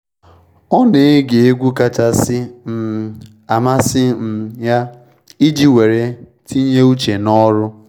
Ọ na ege egwu kachasị um amasị um ya iji weere tinye uche n’ọrụ.